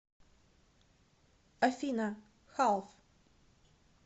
афина халф